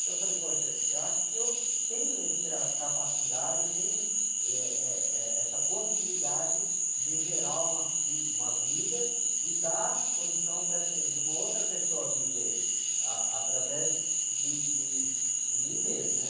Então eu falei, poxa, eu acho que eu tenho essa capacidade, eu tenho, êh, êh, eh, essa possibilidade de gerar uma, uma vida e dar condição dessa, de uma outra pessoa viver, ah, através de, de, de mim mesmo, né?